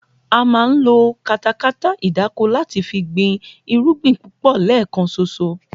A máa ń lo katakata ìdáko láti fi gbin irúgbìn púpò̩ lé̩è̩kan s̩os̩o